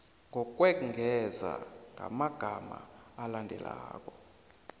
ngokwengeza ngamagama alandelako